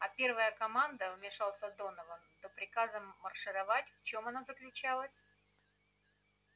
а первая команда вмешался донован до приказа маршировать в чём она заключалась